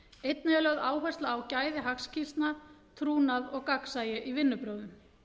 einnig er lögð áhersla á gæði hagskýrslna trúnað og gagnsæi í vinnubrögðum